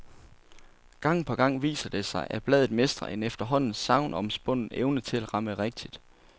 Gang på gang viser det sig, at bladet mestrer en efterhånden sagnomspunden evne til at ramme rigtigt.